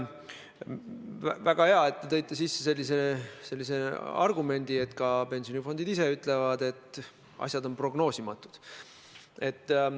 Väga hea, et te tõite sisse sellise argumendi, et ka pensionifondid ise ütlevad, et asjade kulg on prognoosimatu.